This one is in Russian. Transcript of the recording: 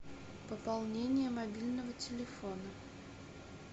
пополнение мобильного телефона